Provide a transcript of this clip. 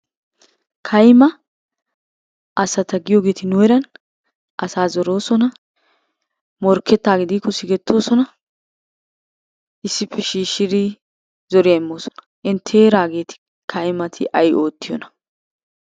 Kayima asata giyogeeti nu heeran asa zoroosona, morkkettaagee diikko sigettoosona, issippe shiishshidi zoriya immoosona. Intte heeraageeti kayimati ayi oottiyonaa?